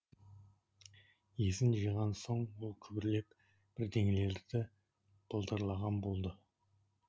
есін жиған соң ол күбірлеп бірдеңелерді былдырлаған болды